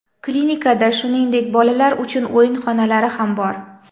Klinikada, shuningdek, bolalar uchun o‘yin xonalari ham bor.